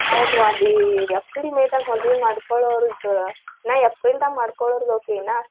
ಹೌದ್ವಾ April, May ದಾಗ ಮದ್ವಿ ಮಾಡ್ಕೊಳೋರ್ದ ನಾವ್ April ದಾಗ ಮಾಡ್ಕೊಳೋ